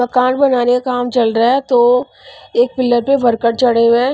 मकान बनाने का काम चल रहा है तो एक पिलर पे वर्कर चढ़े हुए हैं.